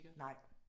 Nej